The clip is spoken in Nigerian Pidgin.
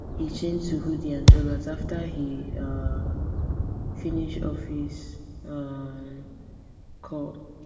he change to hoodie and joggers after he um finish office um call